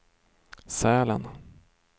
Sälen